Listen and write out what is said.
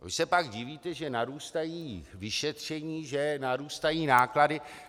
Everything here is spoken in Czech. Vy se pak divíte, že narůstají vyšetření, že narůstají náklady.